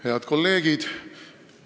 Head kolleegid!